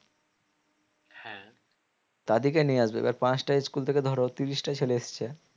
তাদেরকে নিয়ে আসবে এবার পাঁচটা school থেকে ধরো তিরিশটা ছেলে এসছে